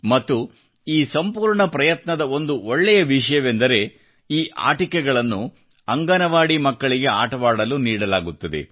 ಮತ್ತು ಈ ಸಂಪೂರ್ಣ ಪ್ರಯತ್ನದ ಒಂದು ಒಳ್ಳೆಯ ವಿಷಯವೆಂದರೆ ಈ ಆಟಿಕೆಗಳನ್ನು ಅಂಗನವಾಡಿ ಮಕ್ಕಳಿಗೆ ಆಟವಾಡಲು ನೀಡಲಾಗುತ್ತದೆ